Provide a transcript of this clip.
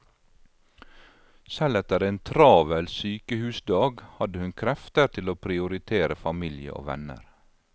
Selv etter en travel sykehusdag hadde hun krefter til å prioritere familie og venner.